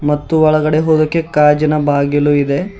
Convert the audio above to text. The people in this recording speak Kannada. ಮತ್ತು ಒಳಗಡೆ ಹೋಗೋಕೆ ಗಾಜಿನ ಬಾಗಿಲು ಇದೆ.